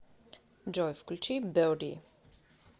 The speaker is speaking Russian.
джой включи беди